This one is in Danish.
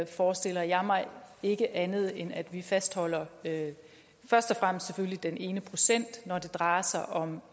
forestiller jeg mig ikke andet end at vi fastholder først og fremmest selvfølgelig den ene procent når det drejer sig om